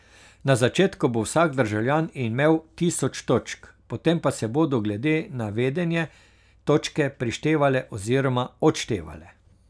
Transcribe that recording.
Na začetku bo vsak državljan imel tisoč točk, potem pa se bodo glede na vedenje točke prištevale oziroma odštevale.